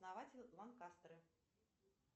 основатель ланкастеры